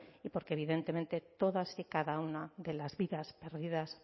y porque evidentemente todas y cada una de las vidas perdidas